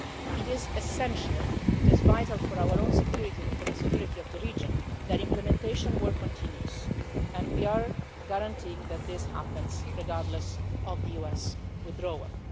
It is essential for our own security and for the security of the region that implementation work continues and we are guaranteeing that this happens, regardless of the US withdrawal.